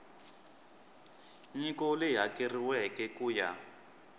nyiko leyi hakeriweke ku ya